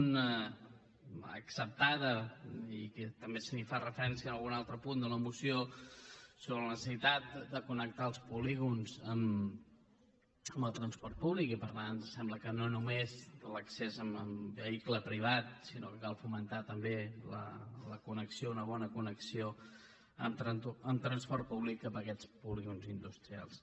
una acceptada i també s’hi fa referència en algun altre punt de la moció sobre la necessitat de connectar els polígons amb el transport públic i per tant ens sembla que no només l’accés amb vehicle privat sinó que cal fomentar també la connexió una bona connexió amb transport públic cap a aquests polígons industrials